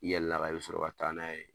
I yɛlɛl'a kan , i bɛ sɔrɔ ka taa n'a ye